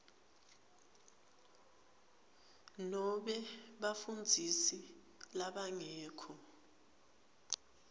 nobe bafundzisi labangekho